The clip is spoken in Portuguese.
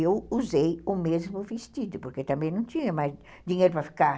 Eu usei o mesmo vestido, porque também não tinha mais dinheiro para ficar.